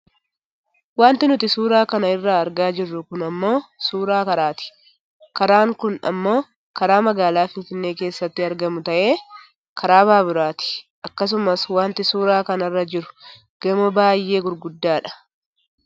Wanti nuti suuraa kana irratti argaa jirru kun ammoo suuraa karaati. Karaan kun ammoo karaa magaalaa Finfinnee keessatti argamu ta'ee karaa baaburaati. Akkasumas Wanti suuraa kanarra jiru gamoo baayyee gurguddaa dha